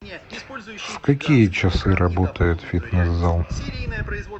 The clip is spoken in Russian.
в какие часы работает фитнес зал